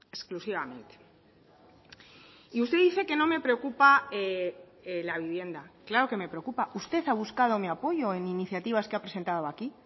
exclusivamente y usted dice que no me preocupa la vivienda claro que me preocupa usted ha buscado mi apoyo en iniciativas que ha presentado aquí